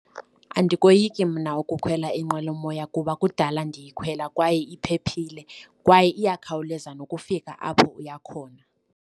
Andikoyiki mna ukukhwela inqwelomoya kuba kudala ndiyikhwela, kwaye iphephile, kwaye iyakhawuleza nokufika apho iya khona.